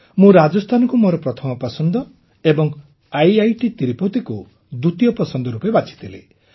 ମୁଁ ରାଜସ୍ଥାନକୁ ମୋର ପ୍ରଥମ ପସନ୍ଦ ଏବଂ ଆଇଆଇଟି ତିରୁପତିକୁ ଦ୍ୱିତୀୟ ପସନ୍ଦ ରୂପେ ବାଛିଥିଲି